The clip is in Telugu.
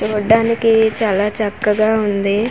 చూడ్డానికి చాలా చక్కగా ఉంది .